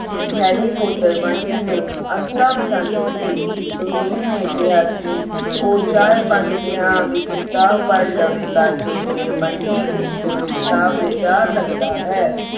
Harry potter Bunty ਨੂੰ ਅਨਤਾ ਪਸੰਦ ਸੀ ਗੁਰਬੀਰ ਨੇ ਕਿਹਾ ਕਿ ਉਹ ਚਾਰ ਪੰਜ ਦਿਨਾਂ ਵਿੱਚ ਕਿਤਾਬ ਪੜ੍ਹ ਲਵੇਗਾ ਤੇ ਫੇਰ ਬੰਟੀ ਉਸ ਕੋਲੋਂ ਕਿਤਾਬ ਲੈ ਜਾ ਸਕਦਾ ਹੈ